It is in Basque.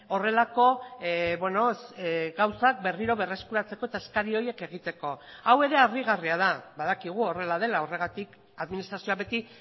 horrelako gauzak berriro berreskuratzeko eta eskari horiek egiteko hau ere harrigarria da badakigu horrela dela horregatik administrazioa beti